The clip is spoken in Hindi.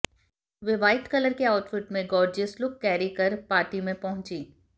वे व्हाइट कलर के आउटफिट में गॉर्जियस लुक कैरी कर पार्टी में पहुंचीं